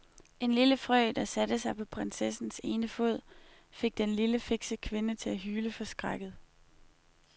En lille frø, der satte sig på prinsessens ene fod, fik den lille, fikse kvinde til at hyle forskrækket.